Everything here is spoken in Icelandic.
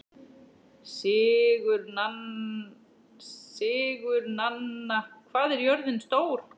Sigurnanna, hvað er jörðin stór?